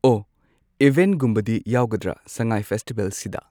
ꯑꯣ ꯏꯚꯦꯟꯠꯒꯨꯝꯕꯗꯤ ꯌꯥꯎꯒꯗ꯭ꯔ ꯁꯉꯥꯏ ꯐꯦꯁꯇꯤꯕꯦꯜꯁꯤꯗ